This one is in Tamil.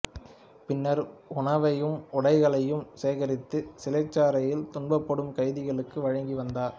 பின்னர் உணவையும் உடைகளையும் சேகரித்து சிறைச்சாலையில் துன்பப்படும் கைதிகளுக்கு வழங்கி வந்தார்